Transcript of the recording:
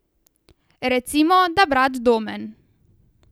Recimo, da brat Domen.